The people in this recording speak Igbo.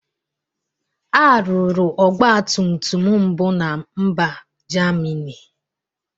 A rụrụ ọgbatumtum mbụ na mba Jamini.